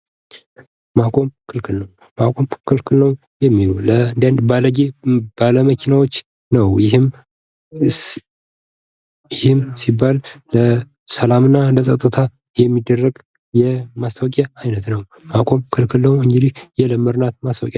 ማቆም ክልክል ነው ማቆም ክልክል ነው የሚሉ ለአንዳንድ ባለጌ ባለመኪናዎች ነው። ይህም ለሰላም እና ለጸጥታ የሚደረግ የማስታወቂያ አይነት ነው። ማቆም ክልክል ነው እንግዲህ የለመድናት ማስታወቂያ ናት።